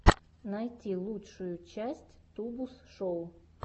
найти лучшую часть тубус шоу